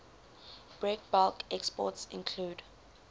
breakbulk exports include